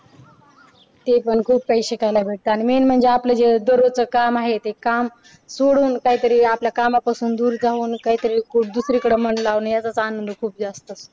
ते पण खूप काही शिकायला भेटत आणि main म्हणजे आपलं जे दररोज च काम आहे ते काम सोडून काही तरी आपल्या कामांपासून दूर जाऊन काय तरी दुसरीकडे मन लावण्याचा तान आहे ना तो खूप जास्त